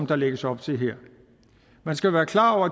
der lægges op til her man skal være klar over